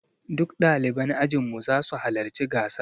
Duk ɗaliban ajin mu za su halarci gasar.